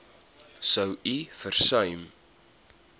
sou u versuim